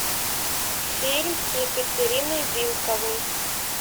фильм с екатериной вилковой